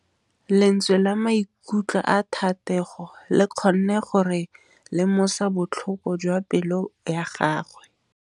Lentswe la maikutlo a Thategô le kgonne gore re lemosa botlhoko jwa pelô ya gagwe.